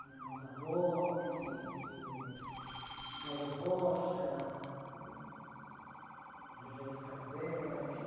Eh Mazzaropi, eh Glauber Rocha, hum Rogério Scarlzella, enfim.